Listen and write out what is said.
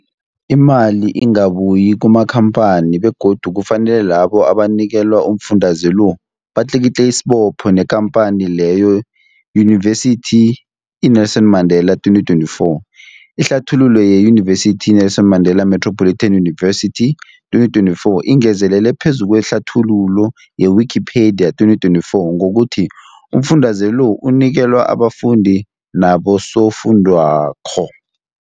Imali ingabuyi kumakhamphani begodu kufanele labo abanikelwa umfundaze lo batlikitliki isibopho neenkhamphani leyo, Yunivesity i-Nelson Mandela 2024. Ihlathululo yeYunivesithi i-Nelson Mandela Metropolitan University, 2024, ingezelele phezu kwehlathululo ye-Wikipedia, 2024, ngokuthi umfundaze lo unikelwa abafundi nabosofundwakgho.